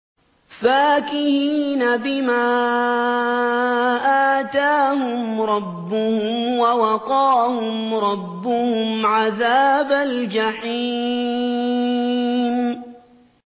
فَاكِهِينَ بِمَا آتَاهُمْ رَبُّهُمْ وَوَقَاهُمْ رَبُّهُمْ عَذَابَ الْجَحِيمِ